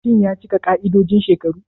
Shin ya cika ƙa'idojin shekaru?